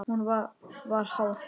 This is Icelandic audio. Hún var háð þeim.